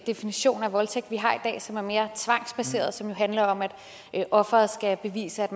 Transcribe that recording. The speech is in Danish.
definition af voldtægt vi har i dag som er mere tvangsbaseret og som handler om at offeret skal bevise at